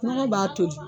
Nɔgɔ b'a toli